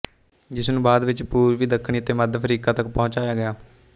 ਜਿਸ ਨੂੰ ਬਾਅਦ ਵਿੱਚ ਪੂਰਬੀ ਦੱਖਣੀ ਅਤੇ ਮੱਧ ਅਫਰੀਕਾ ਤੱਕ ਪਹੁੰਚਾਇਆ ਗਿਆ